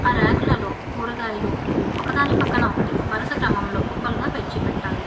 ఆ రాక్లలో కూరగాయలు ఒకదాని పక్కన ఒకటి వరుస క్రమంలో కుప్పలుగా పేర్చిపెట్టారు.